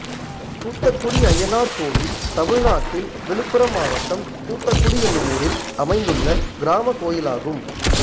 கூத்தக்குடி அய்யனார் கோயில் தமிழ்நாட்டில் விழுப்புரம் மாவட்டம் கூத்தக்குடி என்னும் ஊரில் அமைந்துள்ள கிராமக் கோயிலாகும்